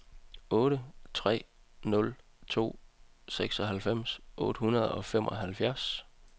otte tre nul to seksoghalvfems otte hundrede og femoghalvfjerds